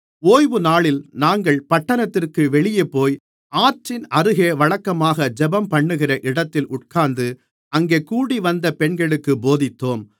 ஓய்வுநாளில் நாங்கள் பட்டணத்திற்கு வெளியேபோய் ஆற்றின் அருகே வழக்கமாக ஜெபம்பண்ணுகிற இடத்தில் உட்கார்ந்து அங்கே கூடிவந்த பெண்களுக்குப் போதித்தோம்